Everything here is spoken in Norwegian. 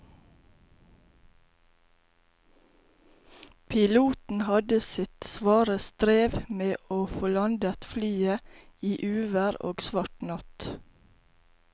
Piloten hadde sitt svare strev med å få landet flyet i uvær og svart natt.